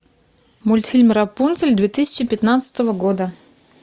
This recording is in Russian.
мультфильм рапунцель две тысячи пятнадцатого года